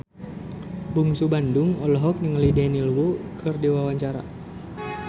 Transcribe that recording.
Bungsu Bandung olohok ningali Daniel Wu keur diwawancara